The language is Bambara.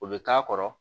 O bɛ k'a kɔrɔ